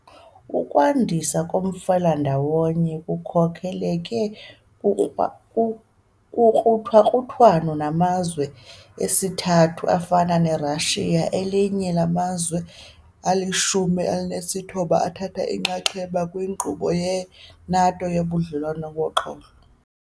Ukwandiswa komfelandawonye kukhokeleke kukruthakruthwano namazwe esithathu afana neRussia, elinye lamazwe alishumi elinesithoba athatha inxaxheba kwinkqubo ye-NATO yoBudlelwane boXolo.